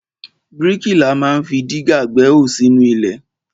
Bríkìlà ma ń fi dígà gbẹ́hò sínú ilẹ̀.